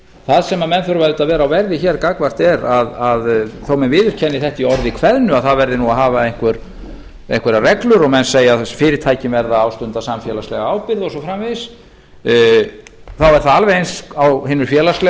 það sem menn auðvitað þurfa að vera á verði hér gagnvart er að þó menn viðurkenni þetta í orði kveðnu að það verði nú að hafa einhverjar reglur og menn segja að fyrirtækin verði að ástunda samfélagslega ábyrgð og svo framvegis þá er það alveg eins á hinu félagslega